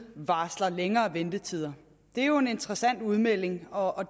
varsles længere ventetider det er jo en interessant udmelding og